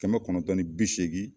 Kɛmɛ kɔnɔntɔn ni bi seegin